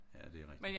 Ja det rigtig